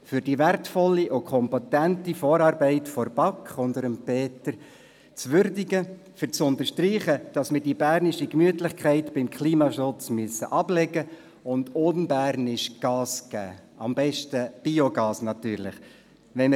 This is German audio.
Um die wertvolle und kompetente Vorarbeit der BaK unter Peter Flück zu würdigen, um zu unterstreichen, dass wir die bernische Gemütlichkeit beim Klimaschutz ablegen und in unbernischer Weise Gas geben müssen, am besten natürlich Biogas.